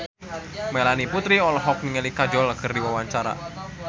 Melanie Putri olohok ningali Kajol keur diwawancara